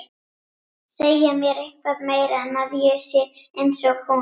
Segja mér eitthvað meira en að ég sé einsog hún.